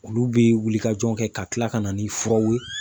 Olu bɛ wuli ka jɔ kɛ ka tila ka na ni furaw ye.